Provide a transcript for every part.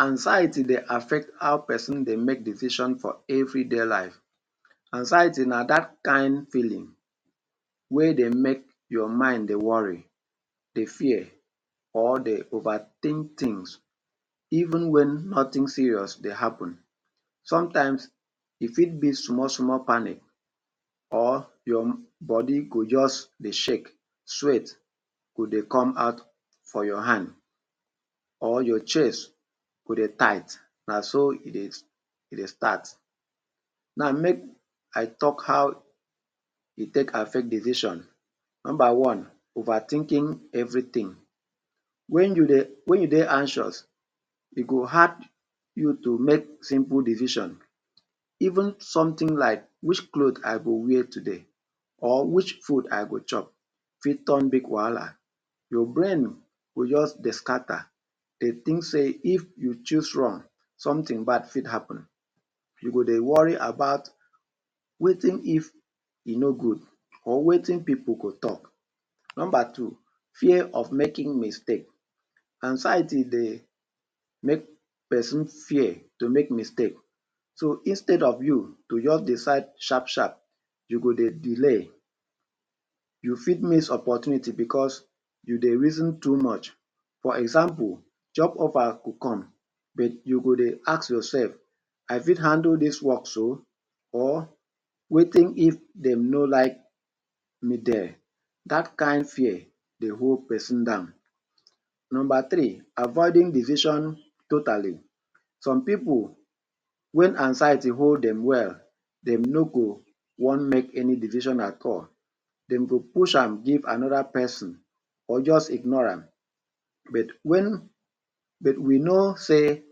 Anxiety dey affect how peson dey make decision for everyday life. Anxiety na dat kain feeling wey dey make your mind dey worry, dey fear, or dey overthink tins even wen nothing serious dey happen. Sometimes, e fit be small-small panic or your body go juz dey shake, sweat go dey come out for your hand or your chest go dey tight. Na so e dey e dey start. Now, make I talk how e take affect decision. Nomba one, Overthinking everything. Wen you dey wen you dey anxious, e go hard you to make simple decision. Even something like which cloth I go wear today or which food I go chop fit turn big wahala. Your brain go juz dey scatter, dey think sey if you choose wrong, something bad fit happen. You go dey worry about wetin if e no good or wetin pipu go talk? Nomba two, Fear of making mistake. Anxiety dey make peson fear to make mistake. So, instead of you to juz decide sharp-sharp, you go dey delay. You fit miss opportunity becos you dey reason too much. For example, job offer go come, but you go dey ask yoursef, I fit handle dis work so or wetin if dem no like me there? Dat kain fear dey hold peson down. Nomba three, Avoiding decision totally. Some pipu, wen anxiety hold dem well, dem no go wan make any decision at all. Dem go push am give another peson or juz ignore am. But wen, but we know sey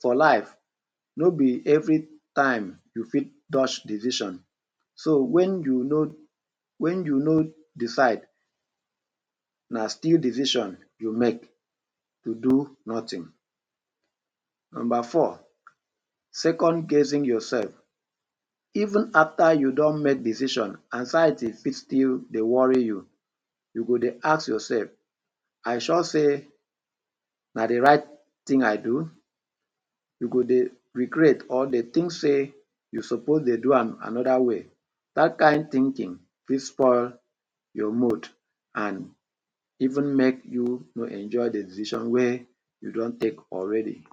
for life, no be every time you fit dodge decision. So wen you no wen you no decide, na still decision you make to do nothing. Nomba four, Second-guessing yoursef. Even after you don make decision, anxiety fit still dey worry you. You go dey ask yoursef, “I sure sey na the right tin I do?” You go dey regret or dey think sey you suppose dey do am another way. Dat kain thinking fit spoil your mood an even make you no enjoy the decision wey you don take already.